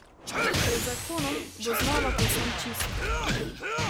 Pred zakonom bo znova povsem čist!